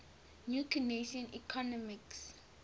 new keynesian economics